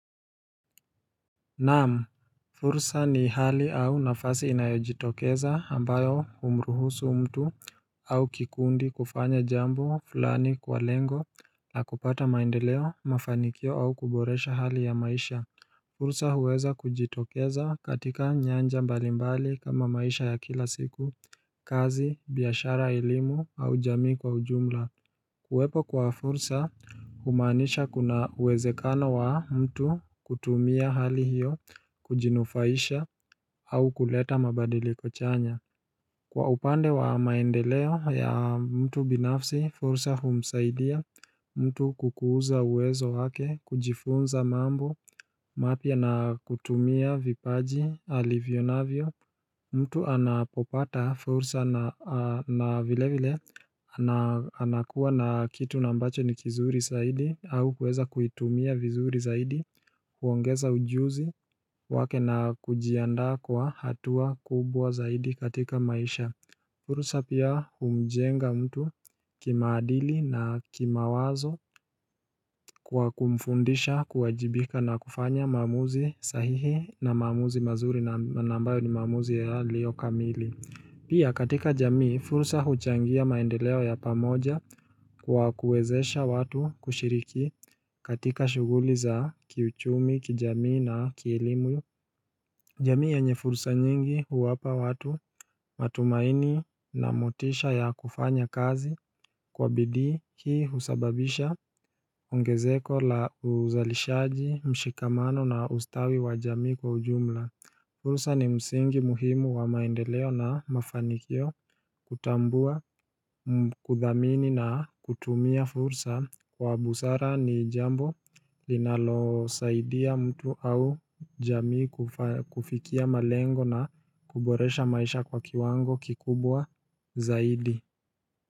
Naam fursa ni hali au nafasi inayojitokeza ambayo humruhusu mtu au kikundi kufanya jambo fulani kwa lengo la kupata maendeleo mafanikio au kuboresha hali ya maisha fursa huweza kujitokeza katika nyanja mbalimbali kama maisha ya kila siku kazi biashara elimu au jamii kwa ujumla kuwepo kwa fursa humaanisha kuna uwezekano wa mtu kutumia hali hiyo Kujinufaisha au kuleta mabadiliko chanya Kwa upande wa maendeleo ya mtu binafsi fursa humsaidia mtu kukuza uwezo wake kujifunza mambo mapya na kutumia vipaji alivyo navyo mtu anapopata fursa na vile vile anakuwa na kitu na ambacho ni kizuri zaidi au kueza kuitumia vizuri saidi kuongeza ujuzi wake na kujiandaa kwa hatua kubwa zaidi katika maisha fursa pia humjenga mtu kimaadili na kimawazo kwa kumfundisha kuajibika na kufanya maamuzi sahihi na maamuzi mazuri na ambayo ni maamuzi yalio kamili Pia katika jamii, fursa huchangia maendeleo ya pamoja kwa kuwezesha watu kushiriki katika shughuli za kiuchumi, kijamii na kielimu. Jamii yenye fursa nyingi huwapa watu matumaini na motisha ya kufanya kazi kwa bidii hii husababisha ongezeko la uzalishaji, mshikamano na ustawi wa jamii kwa ujumla. Fursa ni msingi muhimu wa maendeleo na mafanikio kutambua kuthamini na kutumia fursa kwa busara ni jambo linalosaidia mtu au jamii kufikia malengo na kuboresha maisha kwa kiwango kikubwa zaidi.